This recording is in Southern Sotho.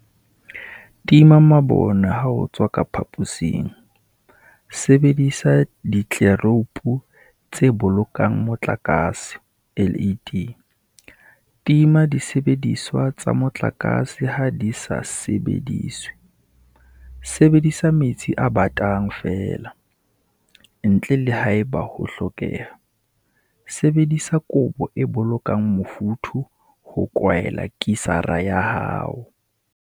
Tima mabone ha o tswa ka phaposing Sebedisa ditleloupo tse Bolokang Motlakase, LED, Tima disebediswa tsa motlakase ha di sa sebediswe Sebedisa metsi a batang feela, ntle le haeba ho hlokeha Sebedisa kobo e bolokang mofuthu ho kwaela kisara ya hao.